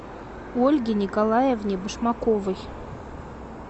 ольге николаевне башмаковой